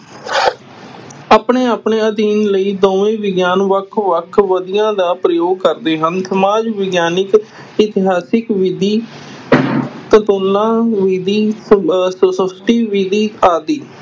ਆਪਣੇ-ਆਪਣੇ ਅਧਿਐਨ ਲਈ ਦੋਵੇਂ ਵਿਗਿਆਨ ਵੱਖ-ਵੱਖ ਵਿਧੀਆਂ ਦਾ ਪ੍ਰਯੋਗ ਕਰਦੇ ਹਨ, ਸਮਾਜ ਵਿਗਿਆਨਕ ਇਤਿਹਾਸਿਕ ਵਿਧੀ ਤੁਲਨਾ ਵਿਧੀ ਅਹ ਵਿਧੀ ਆਦਿ